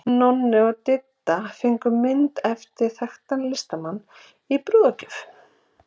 Nonni og Didda fengu mynd eftir þekktan listamann í brúðargjöf.